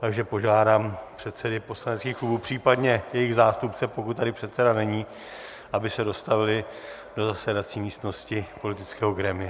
Takže požádám předsedy poslaneckých klubů, případně jejich zástupce, pokud tady předseda není, aby se dostavili do zasedací místnosti politického grémia.